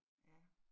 Ja